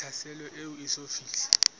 ya tlhaselo e eso fihle